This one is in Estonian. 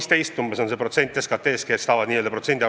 See on 2,15% SKT-st, kui keegi tahab teada täpset protsenti.